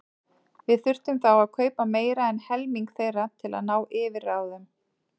Við þyrftum þá að kaupa meira en helming þeirra til að ná yfirráðum.